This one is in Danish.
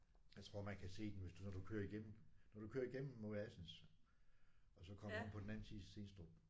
Jeg tror man kan se den hvis du når du kører igennem når du kører igennem mod Assens og så kommer om på den anden side Stenstrup